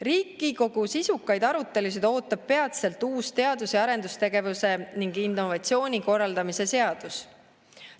Riigikogu sisukaid arutelusid ootab peatselt uus teadus‑ ja arendustegevuse ning innovatsiooni korraldamise seadus.